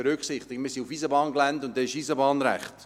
Wir sind auf Eisenbahngelände, und da gilt Eisenbahnrecht.